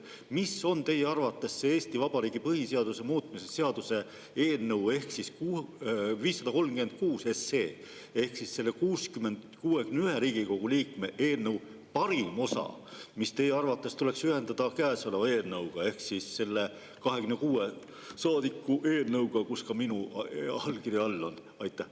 Mis on teie arvates Eesti Vabariigi põhiseaduse muutmise seaduse eelnõu, 536 SE ehk 61 Riigikogu liikme eelnõu parim osa, mis tuleks ühendada käesoleva eelnõuga ehk selle 26 saadiku eelnõuga, kus ka minu allkiri all on?